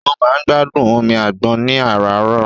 Ó máa ń gbádùn omi àgbọn ní àràárọ̀.